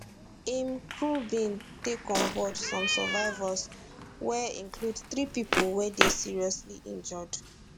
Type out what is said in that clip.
im crew bin take on board some survivors wey include three pipo wey dey seriously injured